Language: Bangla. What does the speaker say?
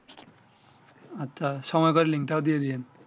আচ্ছা সময় করে লিং টা দিয়ে দিয়েন